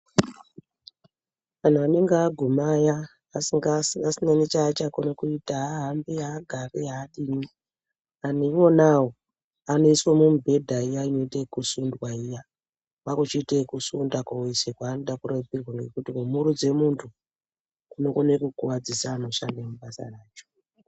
Anhu anenge aguma aya asina necha acha kona kuita haa hambi haa gari haadini anhu iwona awo anoiswa mu mubhedha iya inoite yeku sundwa iya kwaku chiite eku sunda koise kwaanoda kurapirwa ngekuti ku murutse muntu kunogona kugwadzisa anoshanda mu basa racho.